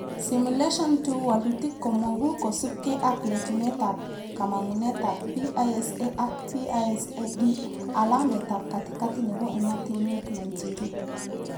Simulation 2 walutik komogu kosubke ak letunetab kamangunetab PISA ak PISA-D, alametab katikati nebo ematinwek 92